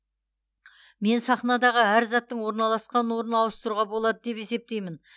мен сахнадағы әр заттың орналасқан орнын ауыстыруға болады деп есептеймін